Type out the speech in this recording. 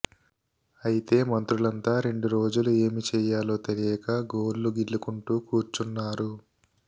అయితే మంత్రులంతా రెండు రోజులు ఏమి చేయాలో తెలియక గోళ్లు గిల్లుకుంటూ కూర్చున్నారు